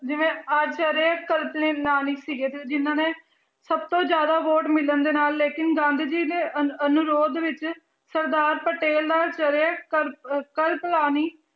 ਜਿਵੇਂ ਆਚਰਿਆ ਸੀਗੇ ਤੇ ਜਿਹਨਾਂ ਨੇ ਸਭ ਤੋਂ ਜ਼ਿਆਦਾ ਵੋਟ ਮਿਲਣ ਦੇ ਨਾਲ ਲੇਕਿੰਨ ਗਾਂਧੀ ਜੀ ਨੇ ਅਨ~ ਅਨੁਰੋਧ ਵਿੱਚ ਸਰਦਾਰ ਪਟੇਲ ਦਾ ਆਚਰਿਆ